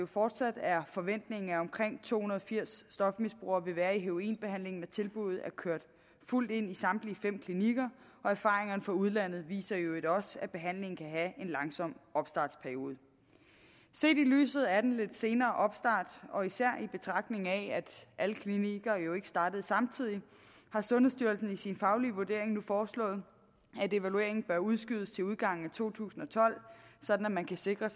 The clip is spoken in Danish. fortsat er forventningen at omkring to hundrede og firs stofmisbrugere vil være i heroinbehandling når tilbuddet er kørt fuldt ind i samtlige fem klinikker og erfaringerne fra udlandet viser i øvrigt også at behandlingen kan have en langsom opstartsperiode set i lyset af den lidt senere opstart og især i betragtning af at alle klinikker jo ikke startede samtidig har sundhedsstyrelsen i sin faglige vurdering nu foreslået at evalueringen bør udskydes til udgangen af to tusind og tolv så man kan sikre